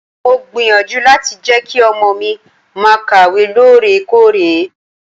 Mo gbìyànjú láti jẹ́ kí ọmọ mi máa kàwé lóòrèkóòrè.